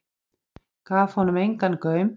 Gaf honum engan gaum.